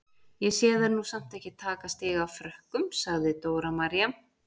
Ég sé þær nú samt ekki taka stig af Frökkum, sagði Dóra María.